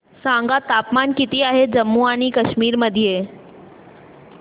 सांगा तापमान किती आहे जम्मू आणि कश्मीर मध्ये